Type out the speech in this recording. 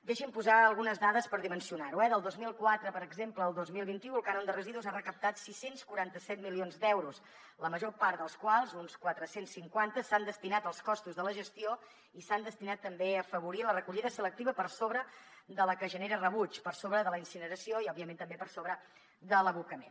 deixin me posar algunes dades per dimensionar ho eh del dos mil quatre per exemple al dos mil vint u el cànon de residus ha recaptat sis cents i quaranta set milions d’euros la major part dels quals uns quatre cents i cinquanta s’han destinat als costos de la gestió i s’han destinat també a afavorir la recollida selectiva per sobre de la que genera rebuig per sobre de la incineració i òbviament també per sobre de l’abocament